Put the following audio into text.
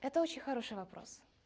это очень хороший вопрос